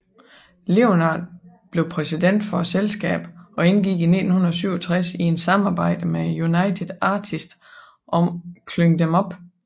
Leonard blev præsident for selskabet og indgik i 1967 i et samarbejde med United Artist om Klyng dem op